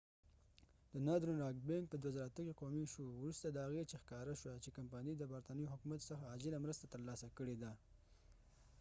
د ناردرن راک بینک northern rock bank په 2008 کې قومی شو وروسته د هغې چې ښکاره شوه چې کمپنی د برطانوي حکومت څخه عاجله مرسته تر لاسه کړي ده